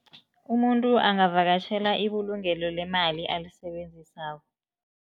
Umuntu angavakatjhela ibulungelo lemali alisebenzisako.